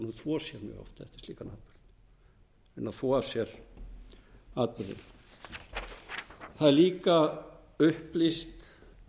eftir slíkan atburð reyna að þvo af sér atburðinn það er líka upplýst